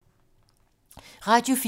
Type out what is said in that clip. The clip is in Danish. Radio 4